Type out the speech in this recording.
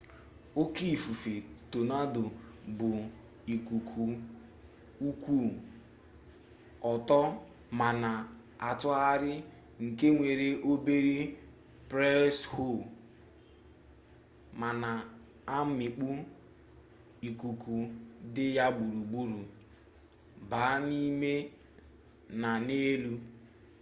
oke ifufe tonado bụ ikuku kwụ ọtọ ma na-atụgharị nke nwere obere preshọ ma na-amịkpu ikuku dị ya gburugburu baa n'ime na n'elu